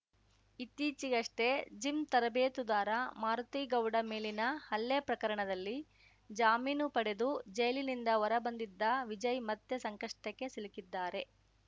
ಇತ್ತೀಚೆಗಷ್ಟೆಜಿಮ್‌ ತರಬೇತುದಾರ ಮಾರುತಿಗೌಡ ಮೇಲಿನ ಹಲ್ಲೆ ಪ್ರಕರಣದಲ್ಲಿ ಜಾಮೀನು ಪಡೆದು ಜೈಲಿನಿಂದ ಹೊರಬಂದಿದ್ದ ವಿಜಯ್‌ ಮತ್ತೆ ಸಂಕಷ್ಟಕ್ಕೆ ಸಿಲುಕಿದ್ದಾರೆ